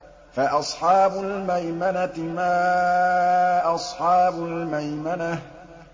فَأَصْحَابُ الْمَيْمَنَةِ مَا أَصْحَابُ الْمَيْمَنَةِ